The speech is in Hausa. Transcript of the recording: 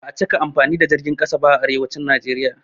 Ba a cika amfani da jirgin ƙasa ba a arewacin Naijeriya.